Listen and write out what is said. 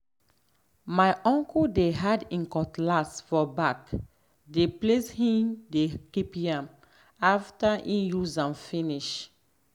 my uncle dey hide him cutlass for back the place him dey keep yam after em use am finish.